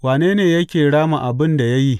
Wane ne yake rama abin da ya yi?